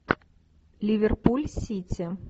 ливерпуль сити